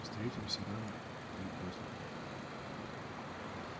встретимся рано или поздно